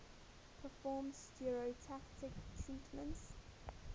perform stereotactic treatments